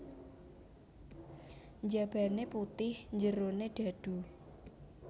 Njabane putih njerone dhadhu